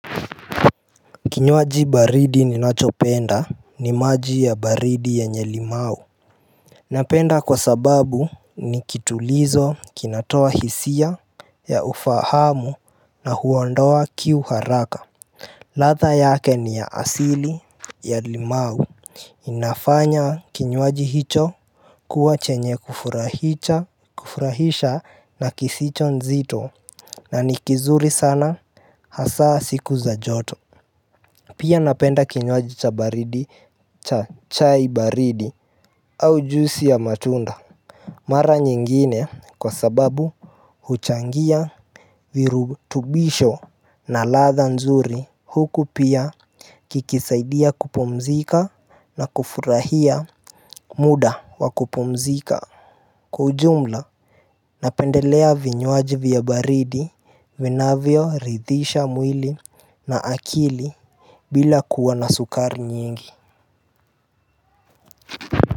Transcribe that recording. Kinywaji baridi ninachopenda ni maji ya baridi yenye limau Napenda kwa sababu ni kitulizo kinatoa hisia ya ufahamu na huondoa kiu haraka ladha yake ni ya asili ya limau inafanya kinywaji hicho kuwa chenye kufurahicha, kufurahisha na kisicho nzito na ni kizuri sana hasa siku za joto Pia napenda kinywaji cha baridi cha chai baridi au juisi ya matunda Mara nyingine kwa sababu huchangia virutubisho na ladha nzuri huku pia kikisaidia kupumzika na kufurahia muda wa kupumzika Kwa ujumla napendelea vinywaji vya baridi vinavyo ridhisha mwili na akili bila kuwa na sukari nyingi.